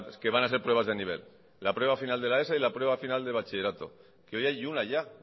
que van a ser pruebas de nivel la prueba final de la eso y la prueba final de bachillerato que hoy hay una ya